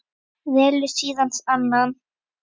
Velur síðan annan.